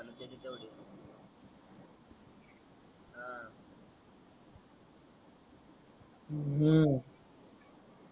हम्म